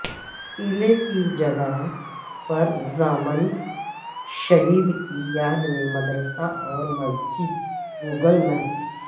قلعہ کی جگہ پر ضامن شہید کی یاد میں مدرسہ اور مسجد گوگل میپ